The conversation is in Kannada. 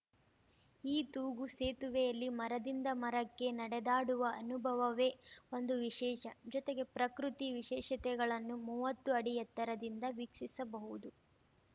ಈ ತೂಗು ಸೇತುವೆಯಲ್ಲಿ ಮರದಿಂದ ಮರಕ್ಕೆ ನಡೆದಾಡುವ ಅನುಭವವೇ ಒಂದು ವಿಶೇಷ ಜೊತೆಗೆ ಪ್ರಕೃತಿ ವಿಶೇಷತೆಗಳನ್ನು ಮೂವತ್ತು ಅಡಿ ಎತ್ತರದಿಂದ ವೀಕ್ಷಿಸಬಹುದು